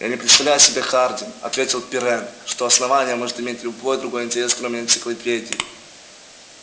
я не представляю себе хардин ответил пиренн что основание может иметь любой другой интерес кроме энциклопедии